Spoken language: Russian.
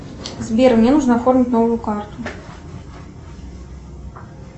сбер мне нужно оформить новую карту